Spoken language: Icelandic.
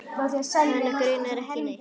Hana grunar ekki neitt.